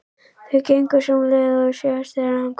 Þau gengu sömu leið og síðast þegar hann kom.